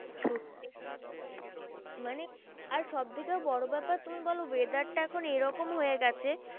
সত্যি মানে আর সব থেকে বড় ব্যাপার তুমি বলো weather টা এখন এরকম হয়ে গেছে,